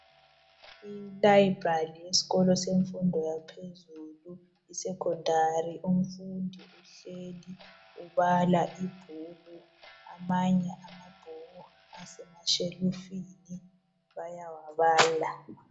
Ilibrary yesikolo semfundo yaphezulu isecondary .Umfundi uhleli ubala ibhuku .Amanye amabhuku asemashelufini bayawabala .